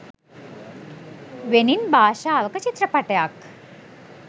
වෙනින් භාෂාවක චිත්‍රපටයක්.